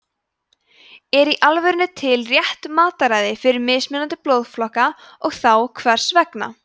er í alvörunni til rétt mataræði fyrir mismunandi blóðflokka og þá hvers vegna